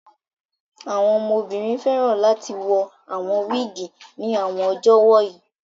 Àwọn ọmọbìnrin fẹ́ràn láti wọ awon wiigi ní àwọn ọjọ́ wọ̀nyí